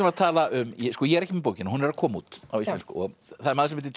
að tala um ég er ekki með bókina hún er að koma út á Íslandi það er maður sem heitir